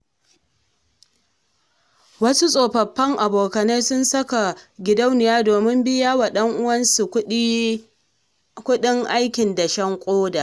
Wasu tsofaffin abokanai sun saka gidauniya domin biya wa ɗan'uwansu kuɗin kuɗin aikin dashen ƙoda.